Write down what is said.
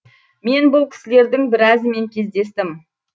мен бұл кісілердің біразымен кездестім